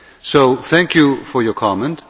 So thank you for your comment.